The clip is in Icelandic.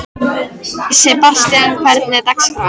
Sebastian, hvernig er dagskráin?